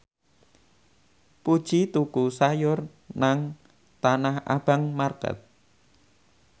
Puji tuku sayur nang Tanah Abang market